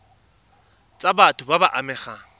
tsa batho ba ba amegang